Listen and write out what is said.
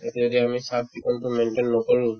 এতিয়াতে আমি sub বিকল্প maintain নকৰো